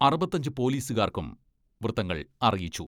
അറുപത്തഞ്ച് പോലീസുകാർക്കും വൃത്തങ്ങൾ അറിയിച്ചു.